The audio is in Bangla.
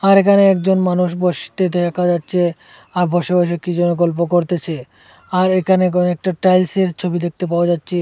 আমার এখানে একজন মানুষ বসতে দেখা যাচ্ছে আর বসে বসে কি যেন গল্প করতেছে আর এখানে কয়েকটা টাইলসের ছবি দেখতে পাওয়া যাচ্ছে।